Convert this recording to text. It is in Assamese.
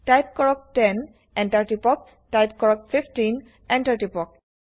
টাইপ কৰক 10 এন্টাৰ টিপক টাইপ কৰক 15 এন্টাৰ কৰক